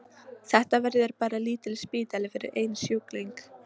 Þetta verður bara lítill spítali fyrir einn sjúkling.